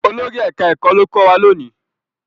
Olórí ẹka ẹkọ ló kọ wá lóni.